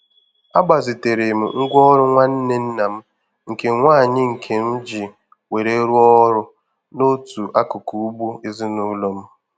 Agbazitere m ngwaọrụ nwanne nna m nke nwaanyị nke m ji were rụọ ọrụ n'otu akụkụ ugbo ezinụlọ m.